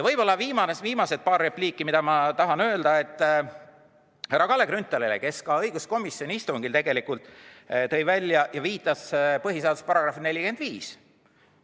Viimased paar repliiki tahan öelda härra Kalle Grünthalile, kes õiguskomisjoni istungil viitas põhiseaduse §-le 45.